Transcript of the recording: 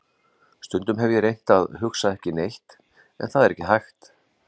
Stundum hef ég reynt að hugsa ekki neitt en það er ekki hægt.